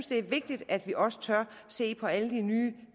det er vigtigt at vi også tør se på alle de nye